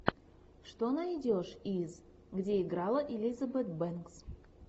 что найдешь из где играла элизабет бэнкс